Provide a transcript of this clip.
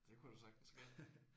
Det kunne da sagtens ske